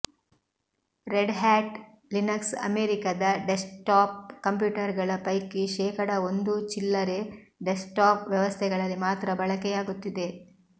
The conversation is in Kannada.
ರೆಡ್ಹ್ಯಾಟ್ ಲಿನಕ್ಸ್ ಅಮೆರಿಕಾದ ಡೆಸ್ಕ್ಟಾಪ್ ಕಂಪ್ಯೂಟರುಗಳ ಪೈಕಿ ಶೇಕಡಾ ಒಂದೂ ಚಿಲ್ಲರೆ ಡೆಸ್ಕ್ಟಾಪ್ ವ್ಯವಸ್ಥೆಗಳಲ್ಲಿ ಮಾತ್ರ ಬಳಕೆಯಾಗುತ್ತಿದೆ